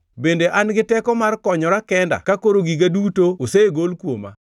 Bende an gi teko mar konyora kenda ka koro giga duto osegol kuoma?